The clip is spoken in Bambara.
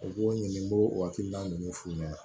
U b'o ɲininka ninnu f'u ɲɛna